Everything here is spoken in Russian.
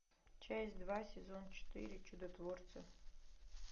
часть два сезон четыре чудотворцы